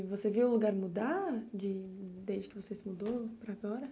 E você viu o lugar mudar de desde que você se mudou para agora?